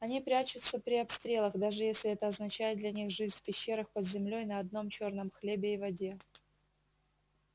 они прячутся при обстрелах даже если это означает для них жизнь в пещерах под землёй на одном чёрном хлебе и воде